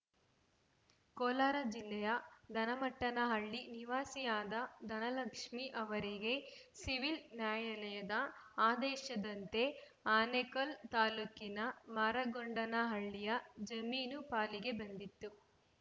ಕೋಲಾರ ಜಿಲ್ಲೆ ದನಮಟ್ಟನಹಳ್ಳಿ ನಿವಾಸಿಯಾದ ಧನಲಕ್ಷ್ಮೇ ಅವರಿಗೆ ಸಿವಿಲ್‌ ನ್ಯಾಯಾಲಯದ ಆದೇಶದಂತೆ ಆನೇಕಲ್‌ ತಾಲೂಕಿನ ಮಾರಗೊಂಡನಹಳ್ಳಿಯ ಜಮೀನು ಪಾಲಿಗೆ ಬಂದಿತ್ತು